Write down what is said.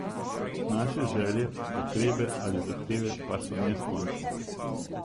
Naše želje, potrebe ali zahteve pa so neskončne.